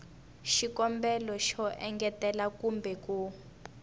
xikombelo xo engetela kumbe ku